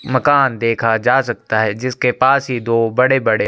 मकान देखा जा सकता है जिसके पास ही दो बड़े-बड़े--